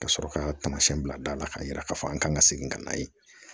Ka sɔrɔ ka tamasiyɛn bila da la k'a yira k'a fɔ an ka kan ka segin ka na yen